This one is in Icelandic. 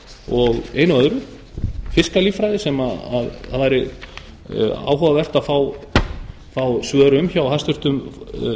og einu og öðru fyrst á líffræði sem væri áhugavert að fá svör um hjá hæstvirtum